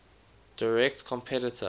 direct competitor